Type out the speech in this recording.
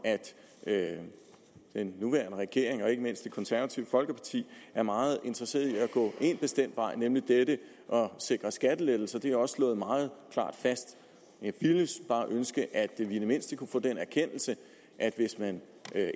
at den nuværende regering og ikke mindst det konservative folkeparti er meget interesseret i at gå en bestemt vej nemlig at sikre skattelettelser det er også slået meget klart fast jeg ville bare ønske at vi i det mindste kunne få den erkendelse at hvis man